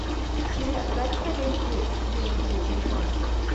сири отправь коллеге деньги на телефон